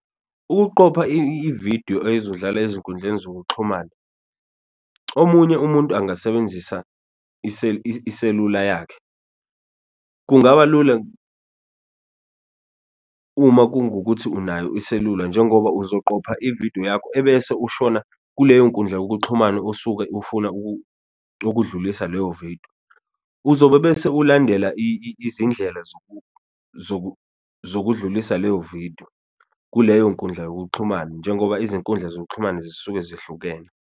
Ukuqopha ividiyo ezodlala ezinkundleni zokuxhumana omunye umuntu angasebenzisa iselula yakhe kungaba lula, uma kungukuthi unayo iselula njengoba uzoqapha ividiyo yakho ebese ushona kuleyo nkundla yokuxhumana osuke ufuna ukudlulisa leyo vidiyo. Uzobe bese ulandela izindlela zokudlulisa leyo vidiyo kuleyo nkundla yokuxhumana, njengoba izinkundla zokuxhumana zisuke zihlukene.